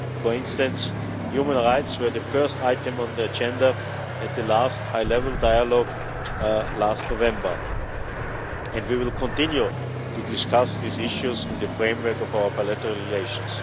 For instance human rights were the first item on the agenda at the last high level dialogue last November and we will continue to discuss these issues in the framework of our bilateral relations.